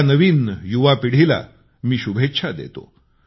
या नवीन युवपिढीला मी शुभेच्छा देतो